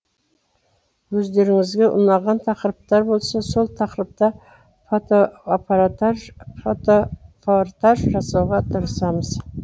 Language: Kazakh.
өздеріңізге ұнаған тақырыптар болса сол тақырыпта фотопортаж жасауға тырысамыз